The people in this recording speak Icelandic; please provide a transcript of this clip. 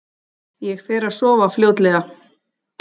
Ég fer að sofa fljótlega.